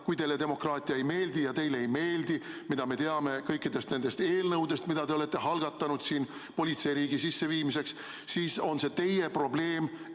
Kui teile demokraatia ei meeldi – ja teile ei meeldi, mida me teame kõikide nende eelnõude põhjal, mida te olete algatanud politseiriigi sisseviimiseks –, siis on see teie probleem.